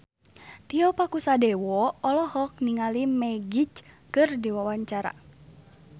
Tio Pakusadewo olohok ningali Magic keur diwawancara